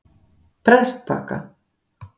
Prestbakka